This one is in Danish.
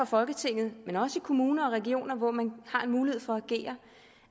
folketinget men også i kommuner og regioner hvor man har mulighed for at agere